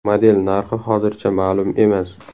Model narxi hozircha ma’lum emas.